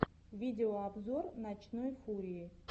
видеообзор ночной фурии